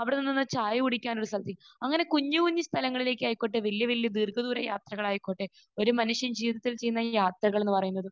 അവിടെ നിന്ന് ചായ കുടിക്കാൻ ഒരു സ്ഥലത്തേക്ക്. അങ്ങനെ കുഞ്ഞുകുഞ്ഞു സ്ഥലങ്ങളിലേക്കായിക്കോട്ടെ വലിയ വലിയ ദീർഘദൂരയാത്രകളായിക്കോട്ടെ, ഒരു മനുഷ്യൻ ജീവിതത്തിൽ ചെയ്യുന്ന ഈ യാത്രകൾ എന്ന് പറയുന്നത്